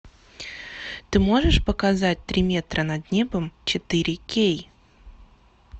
ты можешь показать три метра над небом четыре кей